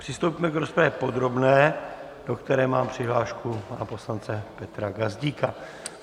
Přistoupíme k rozpravě podrobné, do které mám přihlášku pana poslance Petra Gazdíka.